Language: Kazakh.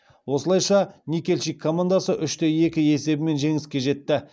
осылайша никельщик командасы үш те екі есебімен жеңіске жетті